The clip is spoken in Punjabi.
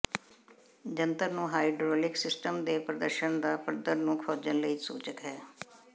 ਜੰਤਰ ਨੂੰ ਹਾਈਡ੍ਰੌਲਿਕ ਸਿਸਟਮ ਦੇ ਪ੍ਰਦੂਸ਼ਣ ਦਾ ਪੱਧਰ ਨੂੰ ਖੋਜਣ ਲਈ ਸੂਚਕ ਹੈ